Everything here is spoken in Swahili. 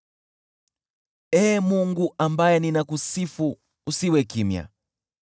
Ee Mungu, ambaye ninakusifu, usiwe kimya,